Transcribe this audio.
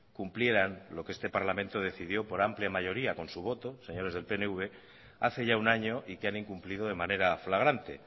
cumplieran lo que este parlamento decidió por amplia mayoría con su voto señores del pnv hace ya un año y que han incumplido de manera flagrante